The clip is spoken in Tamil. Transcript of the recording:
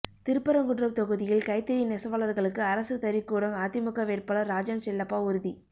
திருப்பரங்குன்றம் தொகுதியில் கைத்தறி நெசவாளர்களுக்கு அரசு தறிக்கூடம் அதிமுக வேட்பாளர் ராஜன்செல்லப்பா உறுதி